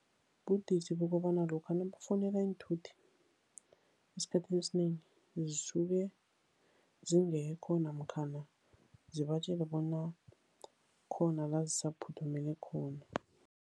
Budisi bokobana lokha nakufuneka iinthuthi, esikhathini esinengi, zisuke zingekho. Namkhana sibatjele bona kukhona la zisaphuthumele khona.